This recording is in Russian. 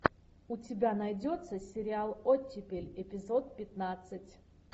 у тебя найдется сериал оттепель эпизод пятнадцать